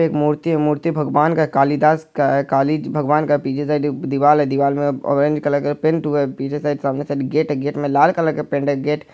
एक मूर्ति है मूर्ति भगवान का है कालिदास का है काली भगवान का पीछे साइड में एक दीवाल है दीवाल में ऑरेंज कलर का पेंट हुआ है पीछे साइड सामने साइड गेट है गेट में लाल कलर का पेंट है। गेट --